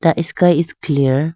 The is sky is clear.